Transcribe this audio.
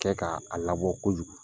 Kɛ k'a labɔ kojugu